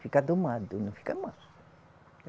Fica domado, não fica manso